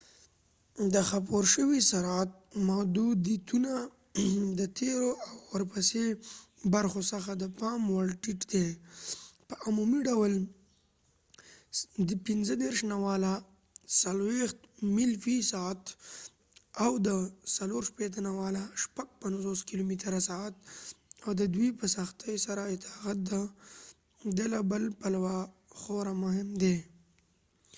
د خپور شوي سرعت محدودیتونه د تیرو او ورپسې برخو څخه د پام وړ ټیټ دي — په عمومي ډول ۴۰-۳۵ میل فی ساعت ۵۶-۶۴ کلومتره/سعت — او د دوی په سختي سره اطاعت د له بل پلوه خورا مهم دی